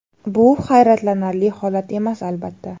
Bu hayratlanarli holat emas, albatta.